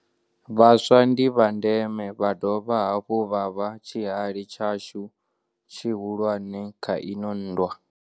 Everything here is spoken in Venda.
Vhaswa ndi vha ndeme, vha dovha hafhu vha vha tshihali tshashu tshihu lwane kha ino nndwa.